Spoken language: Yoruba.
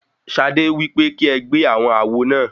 Ṣadé wípé kí ẹ gbé àwọn àwo náà.